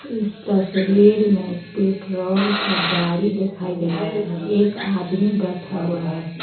इस तस्वीर में पेट्रोल का गाड़ी दिखाई दे रहा है एक आदमी बैठा हुआ है